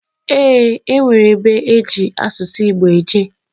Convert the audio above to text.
Eeǃ E nwere ebe eji asụsụ Igbo eje.